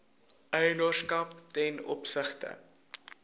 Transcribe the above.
eienaarskap ten opsigte